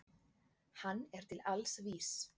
Hann er til alls vís.